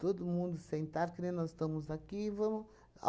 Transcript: Todo mundo sentado, que nem nós estamos aqui e vamos